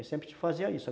Aí sempre te fazia isso.